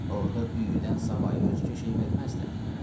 Orda düyüdən savayı özgə şey verməzlər.